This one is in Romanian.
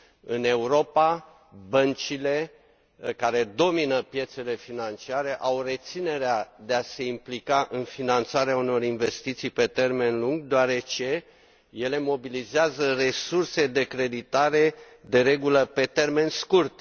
În Europa, băncile, care domină piețele financiare, au reținerea de a se implica în finanțarea unor investiții pe termen lung, deoarece ele mobilizează resurse de creditare, de regulă, pe termen scurt.